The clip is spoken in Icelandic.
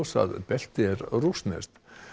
að beltið er rússneskt